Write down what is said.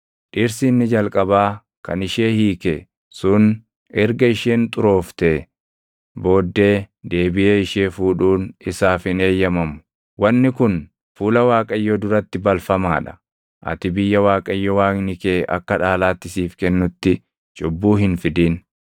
dhirsi inni jalqabaa kan ishee hiike sun erga isheen xurooftee booddee deebiʼee ishee fuudhuun isaaf hin eeyyamamu. Wanni kun fuula Waaqayyoo duratti balfamaa dha. Ati biyya Waaqayyo Waaqni kee akka dhaalaatti siif kennutti cubbuu hin fidin.